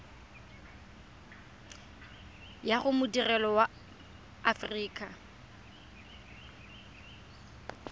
ya go madirelo a aforika